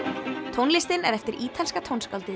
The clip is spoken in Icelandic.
tónlistin er eftir ítalska tónskáldið